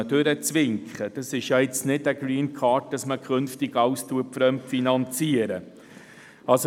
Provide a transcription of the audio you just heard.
Es handelt sich nicht um eine Greencard, sodass künftig alles fremdfinanziert wird.